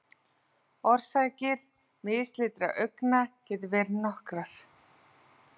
Orsakir mislitra augna geta verið nokkrar.